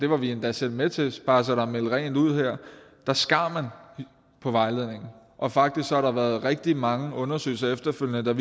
var vi endda selv med til bare så der er meldt rent ud her skar man på vejledningen og faktisk har der været rigtig mange undersøgelser efterfølgende der